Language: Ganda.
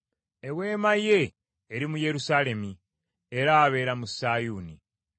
Eweema ye eri mu Yerusaalemi; era abeera mu Sayuuni.